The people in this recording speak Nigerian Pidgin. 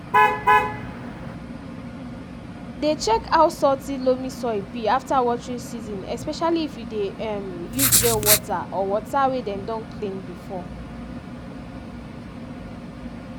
dey check how salty loamy soil be after watering season especially if you dey um use well water or water wey dem don clean before